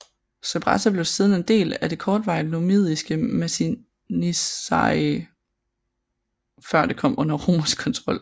Sabratha blev siden en del av det kortvarige numidiske Masinissarige før det kom under romersk kontrol